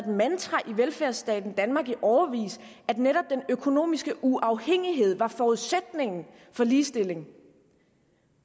mantra i velfærdsstaten danmark i årevis at netop den økonomiske uafhængighed var forudsætningen for ligestilling